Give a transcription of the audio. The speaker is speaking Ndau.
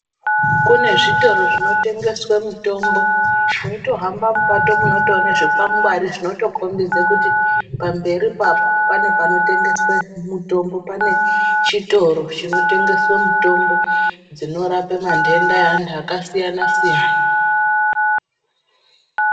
Kune zvitoro zvinotengeswe mitombo weitohamba mupato munotoona zvikwangwari zvinotokhombidze kuti pamberipo apo pane chitoro chinotengeswe mitombo dzinorape mandenda eanhu akasiyana siyana.